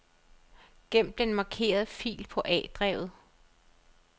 Gem den markerede fil på A-drevet.